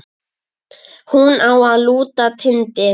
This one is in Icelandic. Hún á að lúta Tindi.